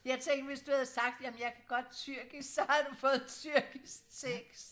jeg tænkte hvis du havde sagt jamen jeg kan godt tyrkisk så havde du fået tyrkisk tekst